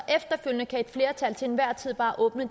efterfølgende kan et flertal til enhver tid bare åbne